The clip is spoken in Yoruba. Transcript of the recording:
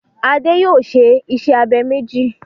Adé yòó se isẹ́ abẹ méjì.